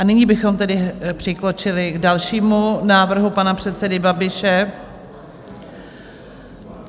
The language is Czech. A nyní bychom tedy přikročili k dalšímu návrhu pana předsedy Babiše.